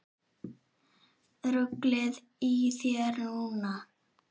Ruglið í þér núna!